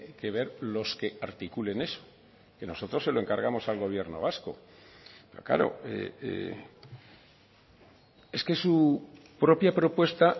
que ver los que articulen eso que nosotros se lo encargamos al gobierno vasco pero claro es que su propia propuesta